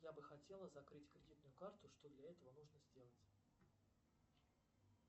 я бы хотела закрыть кредитную карту что для этого нужно сделать